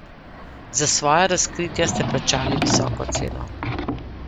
Za svoja razkritja ste plačali visoko ceno.